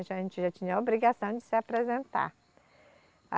A gente já tinha a obrigação de se apresentar.